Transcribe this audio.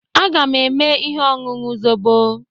Aga m eme ihe ọṅụṅụ zobo.